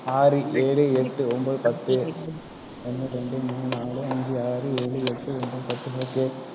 ஆறு, ஏழு, எட்டு, ஒன்பது, பத்து. ஒன்று, இரண்டு, மூன்று, நான்கு, ஐந்து, ஆறு, ஏழு, எட்டு, ஒன்பது, பத்து, பத்து.